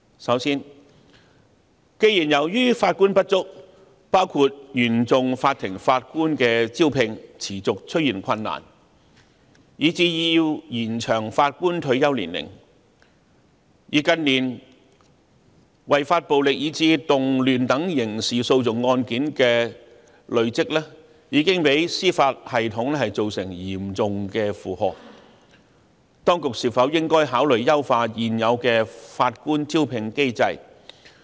首先，既然由於法官不足，包括原訟法庭法官的招聘持續出現困難，以至要延長法官退休年齡，而近年違法暴力以至動亂等刑事訴訟案件的累積已對司法系統造成嚴重負荷，當局應否考慮優化現有的法官招聘機制？